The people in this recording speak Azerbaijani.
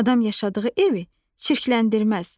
Adam yaşadığı evi çirkləndirməz.